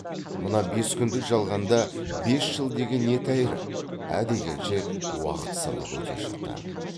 мына бес күндік жалғанда бес жыл деген не тәйірі ә дегенше уақыт сырғып өте шықты